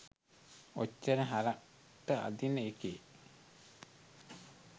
ඔච්චර හරක්ට අදින එකේ